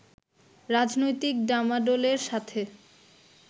রাজনৈতিক ডামাডোলের সাথে